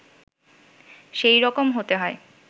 সেই রকম হতে হয়